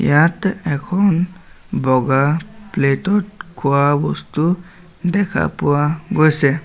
ইয়াত এখন বগা প্লেটত খোৱা বস্তু দেখা পোৱা গৈছে।